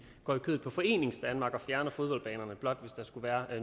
går i kødet på foreningsdanmark og fjerner fodboldbanerne det blot hvis der skulle være